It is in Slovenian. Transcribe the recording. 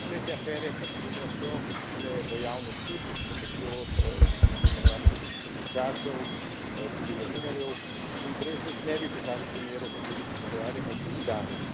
Vse te afere pa seveda so prišle v javnost tudi s pomočjo tako imenovanih žvižgačev, tudi novinarjev, in brez njih ne bi poznali primerov, o katerih se pogovarjamo tudi danes.